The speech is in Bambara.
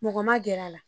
Mɔgɔ ma gɛr'a la